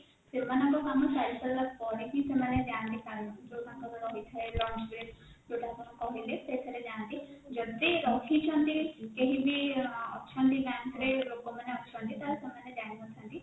ସେମାନଙ୍କ କାମ ସାରିସାରିଲା ପରେ ହିଁ ସେମାନେ ଯାନ୍ତି ଖାଇବା ପାଇଁ ଯୋଉ ତାଙ୍କର ରହିଥାଏ lunch break ଯୋଉଟା ଆପଣ କହିଲେ ସେଥିରେ ଯାନ୍ତି ଯଦି ରହିଛନ୍ତି କେହିବି ଅଛନ୍ତି bank ରେ ଲୋକମାନେ ଅଛନ୍ତି ତାହେଲେ ସେମାନେ ଯାଇନଥାନ୍ତି